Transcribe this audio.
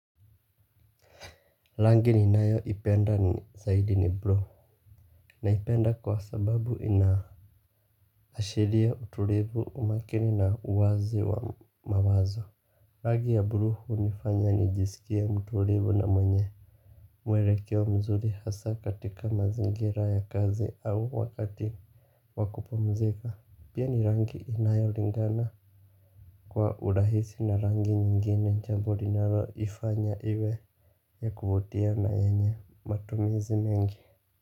Rangi ni nayoipenda zaidi ni bluu. Naipenda kwa sababu inaashiria utulivu, umakini, na uwazi wa mawazo. Ragi ya bluu hunifanya nijisikie mtulivu na mwenye mwelekeo mzuri hasa katika mazingira ya kazi au wakati wakupumzika. Pia ni rangi inayolingana kwa urahisi na rangi nyingine. Jambo inayoifanya iwe ya kuvutia na yenye matumizi mengi.